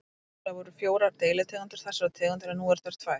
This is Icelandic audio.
Upphaflega voru fjórar deilitegundir þessarar tegundar en nú eru þær tvær.